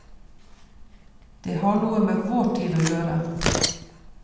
Det har noe med vår tid å gjøre.